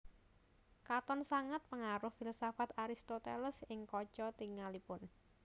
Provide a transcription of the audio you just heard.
Katon sanget pangaruh filsafat Aristoteles ing kaca tingalipun